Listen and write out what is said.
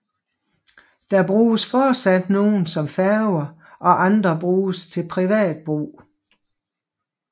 Der bruges fortsat nogen som færger og andre bruges til privat brug